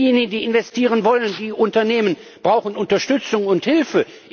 Diejenigen, die investieren wollen, und die Unternehmen brauchen Unterstützung und Hilfe.